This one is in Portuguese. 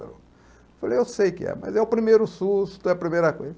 Ele falou, eu sei que é, mas é o primeiro susto, é a primeira